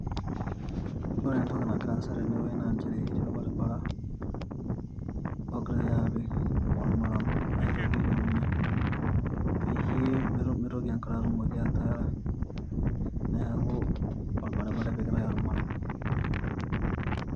Ore entoki nagira aasa tene naa nchere etii orbaribara ogirae apik ormaram aitoki ailepunyie peyie meitoki enkare atumoki ataara neaku orbaribara epikitae ormaram.